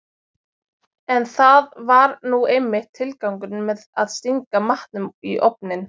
En það var nú einmitt tilgangurinn með að stinga matnum í ofninn.